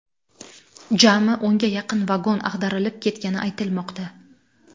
Jami o‘nga yaqin vagon ag‘darilib ketgani aytilmoqda.